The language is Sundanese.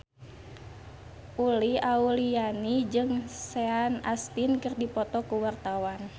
Uli Auliani jeung Sean Astin keur dipoto ku wartawan